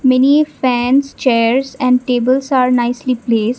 many a fans chairs and tables are nicely place.